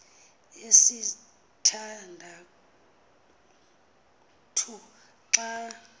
yesitha ndathu xa